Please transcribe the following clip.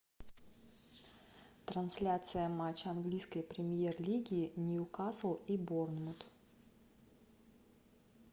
трансляция матча английской премьер лиги ньюкасл и борнмут